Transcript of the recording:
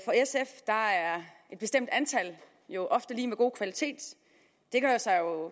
et bestemt antal jo ofte lig med god kvalitet det gør sig jo